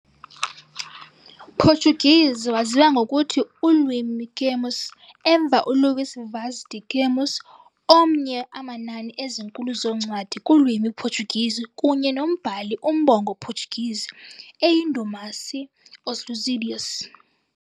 Portuguese waziwa ngokuthi "ulwimi Camões", emva uLuís Vaz de Camões, omnye amanani ezinkulu zoncwadi kulwimi Portuguese kunye nombhali umbongo Portuguese eyindumasi, "Os Lusíadas".